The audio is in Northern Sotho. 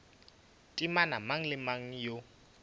temana mang le mang yo